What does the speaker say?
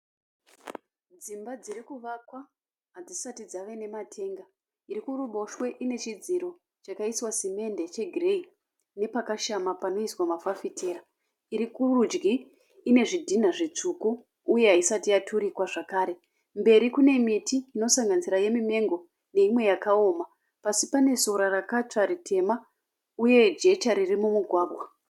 Dzimba dziri kuvakwa hadzisati dzave nema tanker. Iri kuruboshwe ine chidziro chakaiswa semende che gireyi. Nepakashama panoiswa mafafitera. Irikurudyi ine zvidhina zvitsvuku uye haisati yaturikwa zvekare mberi kune miti inosanganisira ye mimengo neinwe yakaoma. Pasi pane sora rakatsva ritema uye jecha riri mumugwagwa.